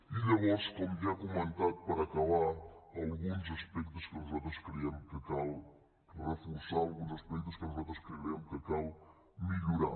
i llavors com ja he comentat per acabar alguns aspectes que nosaltres creiem que cal reforçar alguns aspectes que nosaltres creiem que cal millorar